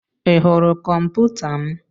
Ị hụrụ kọmputa m?